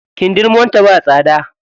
Kindirmon ta ba tsada.